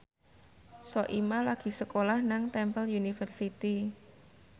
Soimah lagi sekolah nang Temple University